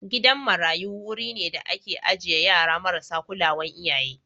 Gidan marayu wuri ne da ake ajiye yara marasa kulawan iyaye.